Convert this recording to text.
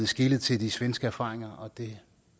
skelet til de svenske erfaringer det